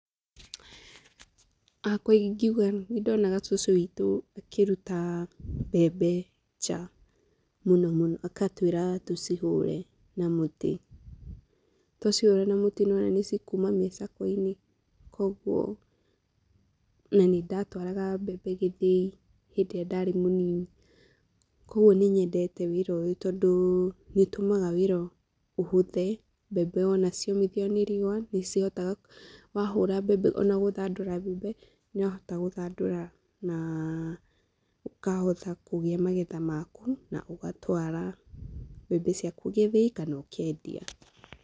Hakwa ingiuga nĩ ndonaga cũcũ witũ akĩruta mbembe nja mũno mũno agatwĩra tucihũre na mũtĩ. Twacihũra na mũtĩ nĩwona nĩ cikuma mĩcakwe-inĩ koguo na nĩ ndatwaraga mbembe gĩthĩi hĩndĩ ĩrĩa ndarĩ mũnini. Koguo nĩ nyendete wĩra ũyũ tondũ nĩ ũtũmaga wĩra ũhũthe, mbembe wona ciomithio nĩ riũa nĩ cihotaga, wahũra mbembe ona gũthandũra mbembe nĩ ũrahota gũthandũra na ũkahota kũgĩa magetha maku na ũgatwara mbembe ciaku gĩthĩi kana ũkendia.